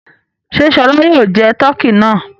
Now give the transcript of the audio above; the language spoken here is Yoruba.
Ṣé Ṣọlá yóò jẹ tọkí náà?